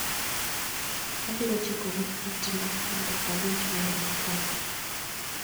Abiro chikoni itna mondo awinj wer mokwongo.